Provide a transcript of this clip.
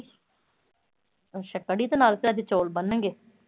ਅੱਛਾ ਕੜੀ ਦੇ ਨਾਲ ਤੇ ਅੱਜ ਚੌਲ ਬਣਨਗੇ।